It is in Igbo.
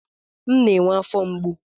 M na-enwe afọ mgbu.